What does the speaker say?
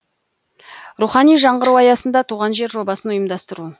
рухани жаңғыру аясында туған жер жобасын ұйымдастыру